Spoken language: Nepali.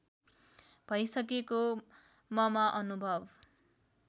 भइसकेको ममा अनुभव